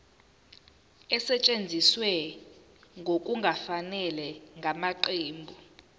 esetshenziswe ngokungafanele ngamaqembu